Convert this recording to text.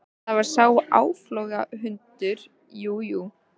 Það var sá áflogahundur, jú, jú.